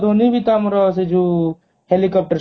ଧୋନୀ ବି ତ ଆମର helicopter